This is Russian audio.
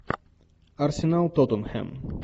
арсенал тоттенхэм